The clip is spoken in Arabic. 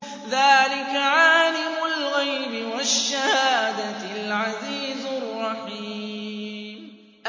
ذَٰلِكَ عَالِمُ الْغَيْبِ وَالشَّهَادَةِ الْعَزِيزُ الرَّحِيمُ